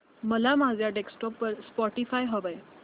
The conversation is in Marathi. मला माझ्या डेस्कटॉप वर स्पॉटीफाय हवंय